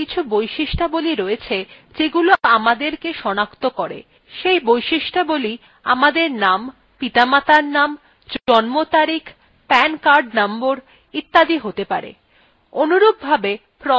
আমাদের প্রত্যেকের কিছু বৈশিষ্ট্যাবলী রয়েছে যেগুলি আমাদেরকে সনাক্ত করে সেই বৈশিষ্ট্যাবলী আমাদের name পিতামাতার name জন্ম তারিখ pan card নম্বর ইত্যাদি হতে pan